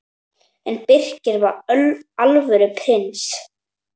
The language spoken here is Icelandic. En Birkir var alvöru prins.